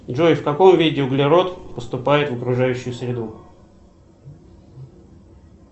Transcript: джой в каком виде углерод поступает в окружающую среду